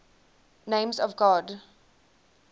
names of god